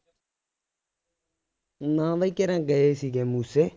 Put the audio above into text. ਨਾ ਬਈ ਕੇਰਾਂ ਗਏ ਸੀਗੇ ਮੂਸੇ